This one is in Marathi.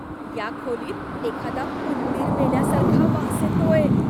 या खोलीत एखादा उंदीर मेल्यासारखा वास येतोय.